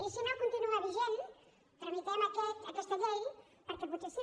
i si no continua vigent tramitem aquesta llei perquè potser sí